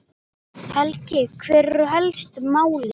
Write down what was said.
Helgi, hver eru helstu málin?